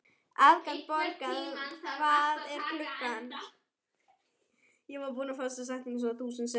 Aðalborgar, hvað er klukkan?